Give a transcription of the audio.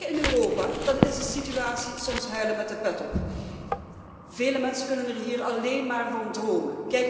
Maar als wij kijken naar Europa, dan is de situatie soms huilen met de pet op. Vele mensen kunnen er hier alleen maar van dromen.